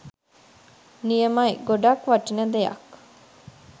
නියමයි ගොඩක් වටින දෙයක්